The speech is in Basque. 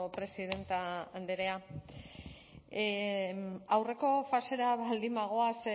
presidente andrea aurreko fasera baldin bagoaz